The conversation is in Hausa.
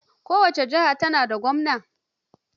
Kowace jiha tana da gwamna.